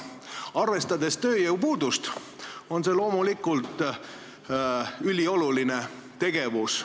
Arvestades tööjõu puudust on see loomulikult ülioluline tegevus.